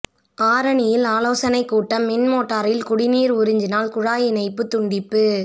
ஆரணியில் ஆலோசனை கூட்டம் மின்மோட்டாரில் குடிநீர் உறிஞ்சினால் குழாய் இணைப்பு துண்டிப்பு